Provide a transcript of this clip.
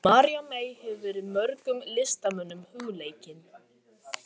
María mey hefur verið mörgum listamönnum hugleikin.